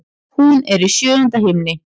Hún er í sjöunda himni.